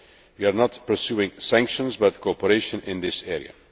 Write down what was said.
We are not pursuing sanctions but cooperation in this area.